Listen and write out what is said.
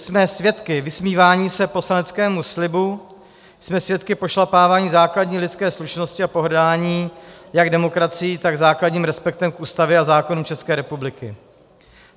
Jsme svědky vysmívání se poslaneckému slibu, jsme svědky pošlapávání základní lidské slušnosti a pohrdání jak demokracií, tak základním respektem k Ústavě a zákonům České republiky.